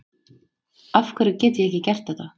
afhverju get ég ekki gert þetta